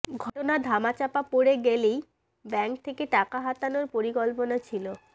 ঘটনা ধামাচাপা পড়ে গেলেই ব্যাঙ্ক থেকে টাকা হাতানোর পরিকল্পনা ছিল